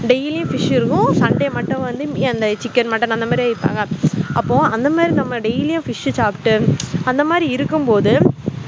daily உம் fish இருக்கும் sunday மட்டும் வந்து chicken mutton அந்த மாதிரி அப்போ அந்த மாதிரி நம்ம daily உம் fish சாப்பிட்டு அந்த மாதிரி இருக்கும் போது